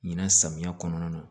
Ɲinan samiya kɔnɔna na